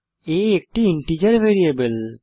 a একটি integer variable